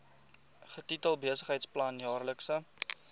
getitel besigheidsplan jaarlikse